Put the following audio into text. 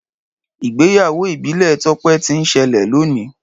Ìgbéyáwó ibile tope ti n sele loni.